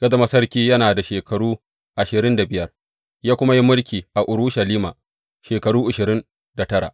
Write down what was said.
Ya zama sarki yana da shekaru ashirin da biyar, ya kuma yi mulki a Urushalima shekaru ashirin da tara.